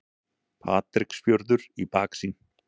Patreksfjörður í baksýn.